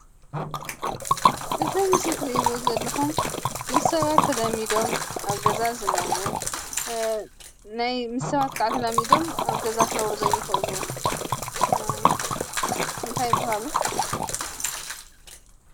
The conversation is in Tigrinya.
አዚ ኣብ ምስሊ እትሪእዎ ዘለኹም ምስ ሰባት ተላሚዶም ኣብ ገዛ ዝነብሩ፣ ናይ ምስ ሰባት ከዓ ተላሚዶም ኣብ ገዛ ክነብሩ ዘይኽእሉ እንታይ ይብሃሉ?